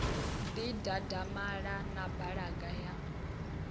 ḓi dadamala na balaga ya